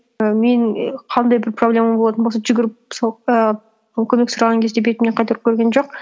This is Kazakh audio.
і менің і қандай бір проблемам болатын болса жүгіріп сол і мен көмек сұраған кезде бетімнен қайтарып көрген жоқ